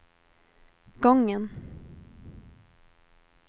gången